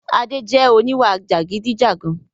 Adé jẹ oníwà jàgidijàgan